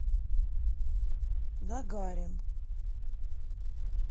гагарин